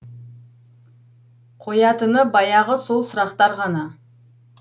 қоятыны баяғы сол сұрақтар ғана